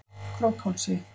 Krókhálsi